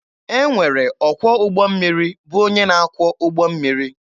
E nwere ọkwọ ụgbọ mmiri bụ onye na akwọ ụgbọ mmiri.